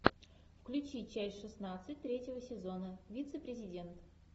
включи часть шестнадцать третьего сезона вице президент